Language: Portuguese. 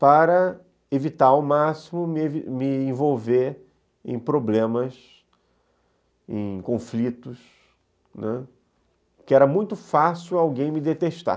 para evitar ao máximo me me envolver em problemas, em conflitos, né, porque era muito fácil alguém me detestar.